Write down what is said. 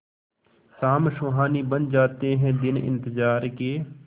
शाम सुहानी बन जाते हैं दिन इंतजार के